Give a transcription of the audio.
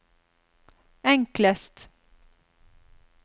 enklest